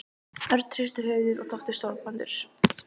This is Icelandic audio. Örn hristi höfuðið og þóttist sorgmæddur.